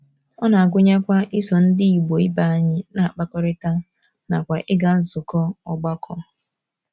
Ọ na - agụnyekwa iso Ndị Igbo ibe anyị na - akpakọrịta nakwa ịga nzukọ ọgbakọ.